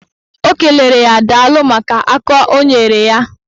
O kelere ya daalụ maka aka o nyere ya.